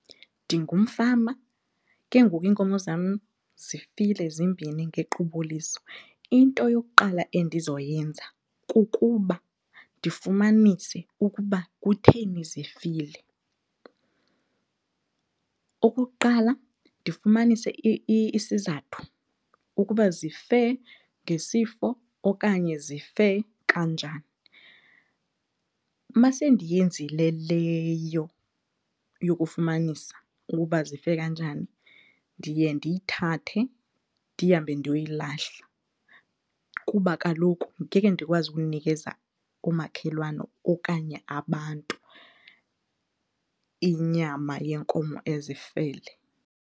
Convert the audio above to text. Ndingumfama ke ngoku iinkomo zam zifile zimbini ngequbuliso. Into yokuqala endizoyenza kukuba ndifumanise ukuba kutheni zifile. Okokuqala, ndifumanise isizathu ukuba zife ngesifo okanye zife kanjani. Uma sendiyenzile leyo yokufumanisa ukuba zife kanjani ndiye ndiyithathe ndihambe ndiyoyilahla kuba kaloku ngeke ndikwazi ukunikeza oomakhelwane okanye abantu inyama yenkomo ezifele.